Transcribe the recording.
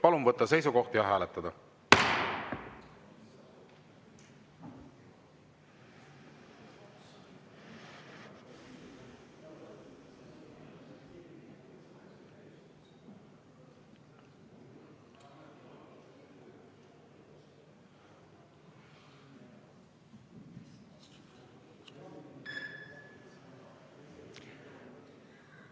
Palun võtta seisukoht ja hääletada!